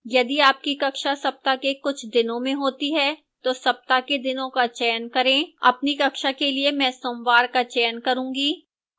यदि आपकी कक्षा सप्ताह के कुछ दिनों में होती है तो सप्ताह के दिनों का चयन करें अपनी कक्षा के लिए मैं सोमवार का चयन करूँगी